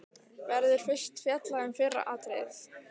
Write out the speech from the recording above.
Verður fyrst fjallað um fyrra atriðið.